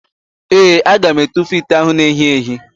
Ee, aga m etufu ite ahụ na-èhí èhí.